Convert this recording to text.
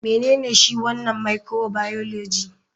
Menene shi wanan microbioligy?